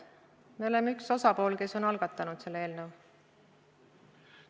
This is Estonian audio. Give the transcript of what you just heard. Me oleme üks osapool, kes on selle eelnõu algatanud.